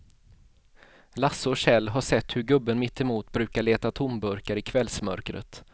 Lasse och Kjell har sett hur gubben mittemot brukar leta tomburkar i kvällsmörkret.